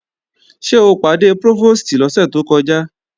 Ṣé o pàdé Prófòstì lọ́sẹ̀ tó kọjá?